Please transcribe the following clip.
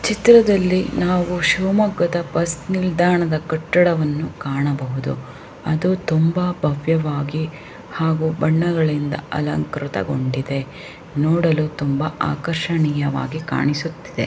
ಚಿತ್ರದಲ್ಲಿ ನಾವು ಶಿಮೊಗದ ಬಸ್ ನಿಲ್ದಾಣದ್ ಕಟ್ಟಡವನ್ನು ಕಾಣಬಹುದು ಅದು ತುಂಬಾ ಭವ್ಯವಾಗಿ ಹಾಗು ಬಣ್ಣಗಳಿಂದ ಅಲಂಕೃತಗೊಂಡಿದೆ ನೋಡಲು ತುಂಬಾ ಅಕಾರಿಷ್ಟವಾಗಿ ಕಾಣುಸುತ್ತಿದೆ.